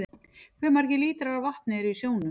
Hve margir lítrar af vatni eru í sjónum?